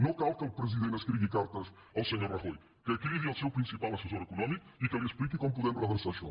no cal que el president escrigui cartes al senyor rajoy que cridi al seu principal assessor econòmic i que li expliqui com podem redreçar això